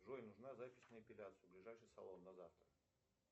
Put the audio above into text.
джой нужна запись на эпиляцию в ближайший салон на завтра